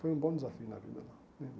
Foi um bom desafio na vida lá né.